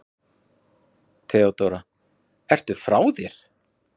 THEODÓRA: Ertu frá þér?